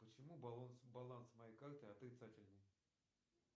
почему баланс моей карты отрицательный